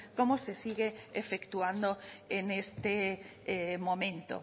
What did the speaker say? como se sigue efectuando en este momento